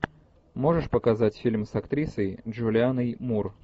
можешь показать фильм с актрисой джулианой мур